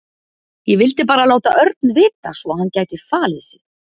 Ég vildi bara láta Örn vita svo að hann gæti falið sig.